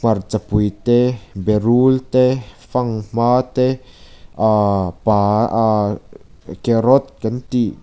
hmarcha pui te berul te fanghma te ahh pa ah carrot kan tih--